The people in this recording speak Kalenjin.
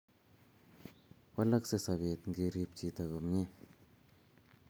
walkasei sabet ngerip chito komie